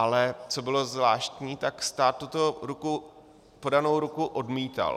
Ale co bylo zvláštní, tak stát tuto podanou ruku odmítal.